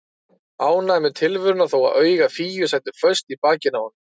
Ánægður með tilveruna þó að augu Fíu sætu föst í bakinu á honum.